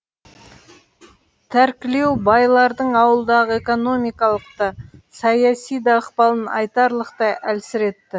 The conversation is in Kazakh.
тәркілеу байлардың ауылдағы экономикалық та саяси да ықпалын айтарлықтай әлсіретті